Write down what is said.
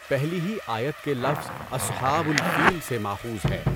پہلی ہی آیت کے لفظ "اصحٰب الفِیل" سے ماخوذ ہے۔